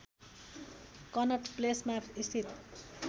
कनट प्लेसमा स्थित